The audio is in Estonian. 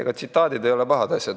Ega tsitaadid ei ole pahad asjad.